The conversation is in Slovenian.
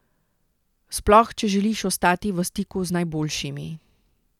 Sploh če želiš ostati v stiku z najboljšimi.